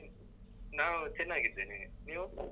ನಾವ್ ಚೆನ್ನಾಗಿದ್ದೇನೆ. ನೀವು? .